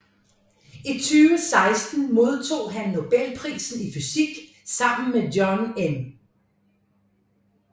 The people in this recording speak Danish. I 2016 modtog han Nobelprisen i fysik sammen med John M